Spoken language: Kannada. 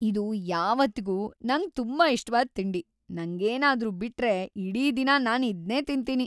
ಇದು ಯಾವತ್ತಿಗೂ ನಂಗ್‌ ತುಂಬಾ ಇಷ್ಟವಾದ್‌ ತಿಂಡಿ, ನಂಗೇನಾದ್ರೂ ಬಿಟ್ರೆ ಇಡೀ ದಿನ ನಾನ್ ಇದ್ನೇ ತಿಂತೀನಿ.